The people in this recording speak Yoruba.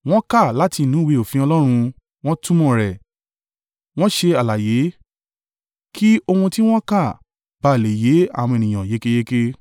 Wọ́n kà láti inú ìwé òfin Ọlọ́run, wọ́n túmọ̀ rẹ̀, wọ́n ṣe àlàyé kí ohun tí wọ́n kà bá à le yé àwọn ènìyàn yékéyéké.